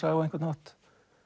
á einhvern hátt